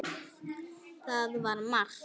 Það var mark.